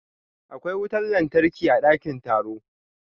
Akwai wutar lantarki a dakin taro.